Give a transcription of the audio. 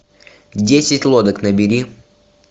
десять лодок набери